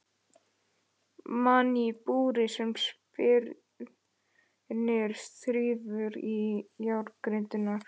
Mann í búri sem spyrnir og þrífur í járngrindurnar.